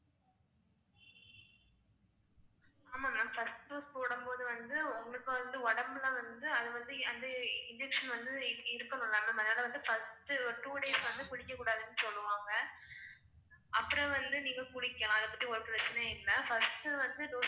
ஆமா ma'am first போடும்போது வந்து உங்களுக்கு வந்து உடம்புல வந்து அது வந்து அது injection வந்து அதனால first two days வந்து குளிக்கக் கூடாதுன்னு சொல்லுவாங்க. அப்புறம் வந்து நீங்க குளிக்கலாம். அதபத்தி ஒரு பிரச்சனையும் இல்லை. first வந்து dose